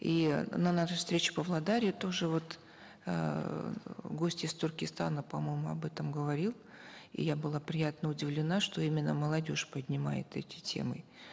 и на нашей встрече в павлодаре тоже вот эээ гость из туркестана по моему об этом говорил и я была приятно удивлена что именно молодежь поднимает эти темы